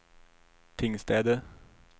Tingstäde